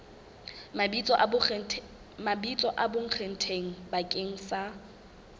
mabitso a bonkgetheng bakeng sa